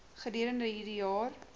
gedurende hierdie jaar